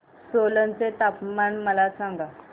सोलन चे तापमान मला सांगा